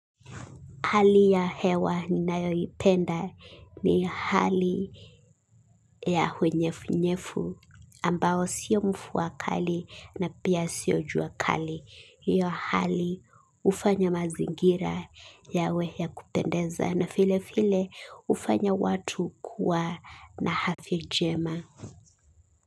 Hali ya hewa ninayoipenda ni hali ya unyefu-unyefu ambao sio mfuwa kali na pia sio jua kali. Hiyo hali hufanya mazingira yawe ya kupendeza na file file ufanya watu kuwa na hadhi njema.